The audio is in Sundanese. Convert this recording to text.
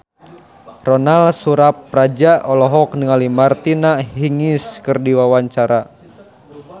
Ronal Surapradja olohok ningali Martina Hingis keur diwawancara